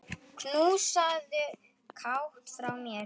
Knúsaðu Kát frá mér.